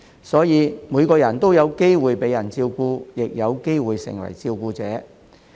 所以每個人都有機會被人照顧，亦有機會成為照顧者。